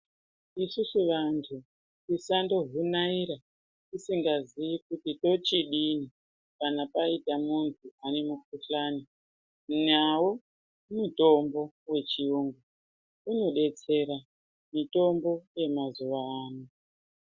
Isusu vantu tisango vhunaira tisingazivi kuti tochidini kana paita muntu ane mukuhlani nawo mutombo yechiyungu inodetsera mutombo wamazyva ano.